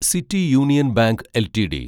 city Union Bank LTD